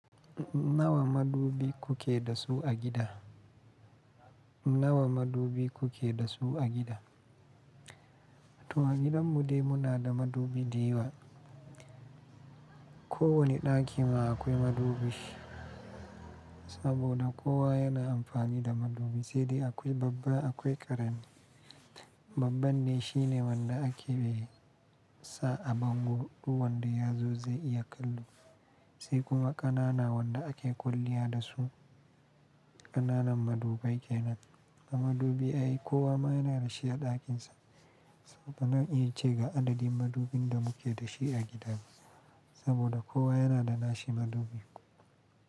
Nawa madubi kuke da su a gida? Nawa madubi kuke da su a gida? To a gidan mu dai muna da madubi dayawa. Ko wani ɗaki ma akwai madubi, saboda kowa yana amfani da madubi sai dai akwai babba akwai ƙarami. Babban ne shine wanda ake sa a bango ɗu wanda ya zo zai iya kallo, sai kuma ƙanana wanda ake kwalliya da su. Ƙananan madubai ke nan. Na madubi ai kowa ma yana da shi a ɗakinsa. Bazan iya ce ga adadin madubin da muke da shi a gida saboda kowa yana da nashi madubi.